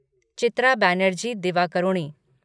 चित्र बनर्जी दिवाकरुणी